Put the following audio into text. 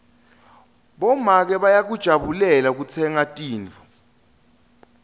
bomake bayakujabulela kutsenga tintfo